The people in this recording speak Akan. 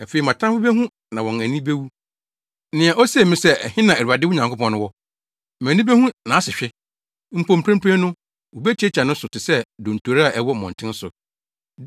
Afei, mʼatamfo behu na wɔn ani bewu, nea osee me sɛ, “Ɛhe na Awurade wo Nyankopɔn no wɔ?” Mʼani behu nʼasehwe; mpo mprempren no, wobetiatia no so te sɛ dontori a ɛwɔ mmɔnten so.